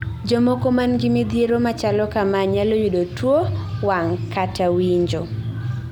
Jomoko mangi midhiero machalo kamaa nyalo yudo tuo wang' kata winjo